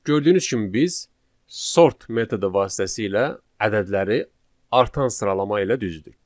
Gördüyünüz kimi biz sort metodu vasitəsilə ədədləri artan sıralama ilə düzdük.